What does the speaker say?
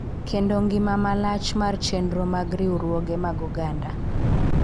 Kendo ngima malach mar chenro mag riwruoge mag oganda.